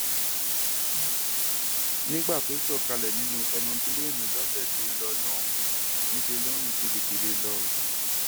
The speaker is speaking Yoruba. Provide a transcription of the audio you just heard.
nígbà tó sọ kalẹ nínú èròǹpilẹẹni lọsẹ tó lọ lọhùnún níṣẹ ló ń rìn kébékébé lọ o